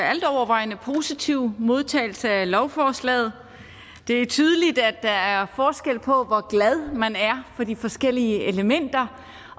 altovervejende positive modtagelse af lovforslaget det er tydeligt at der er forskel på hvor glad man er for de forskellige elementer